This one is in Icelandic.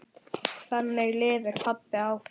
Þannig lifir pabbi áfram.